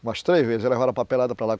Umas três vezes, aí levaram a papelada para lá.